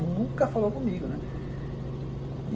nunca falou comigo, né.